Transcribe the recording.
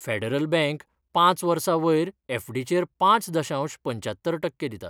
Federal Bank पांच वर्सां वयर एफडीचेर पांच दशांश पंच्यात्तर टक्के दिता.